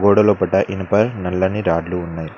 గోడలోపట ఇనుప నల్లని రాడ్లు ఉన్నాయి.